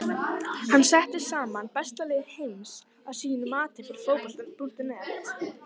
Hann setti saman besta lið heims að sínu mati fyrir Fótbolta.net.